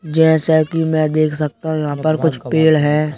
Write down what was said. जैसे कि मैं देख सकता हूं यहाँ पर कुछ पेड़ हैं।